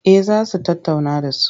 Eh za su tattauna da su.